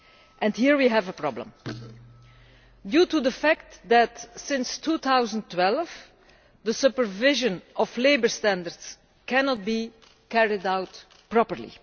And here we have a problem, due to the fact that since 2012 the supervision of labour standards cannot be carried out properly.